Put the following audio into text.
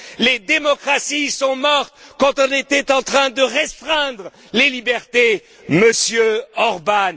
Les démocraties sont mortes quand on était en train de restreindre les libertés, Monsieur